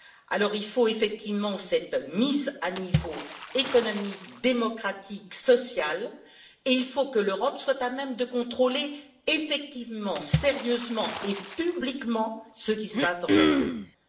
Alors, il faut effectivement cette mise à niveau économique, démocratique, et sociale, et il faut que l'Europe soit à même de contrôler effectivement, sérieusement et publiquement ce qui se passe dans chacun de ces pays.